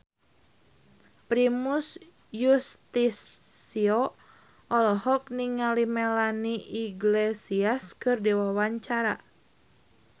Primus Yustisio olohok ningali Melanie Iglesias keur diwawancara